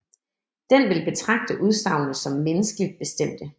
Den vil betragte udsagnene som menneskeligt bestemte